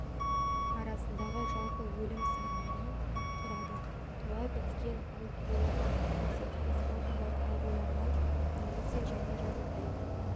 арасындағы жалпы өлім санының құрады туа біткен ауытқулардан немесе тыныс органдары ауруларынан немесе және жазатайым